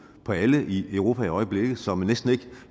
på alle i europa i øjeblikket så man næsten ikke